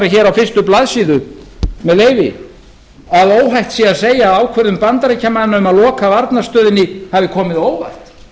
hér á fyrstu blaðsíðu með leyfi að óhætt sé að segja að ákvörðun bandaríkjamanna um að loka varnarstöðinni hafi komið á óvart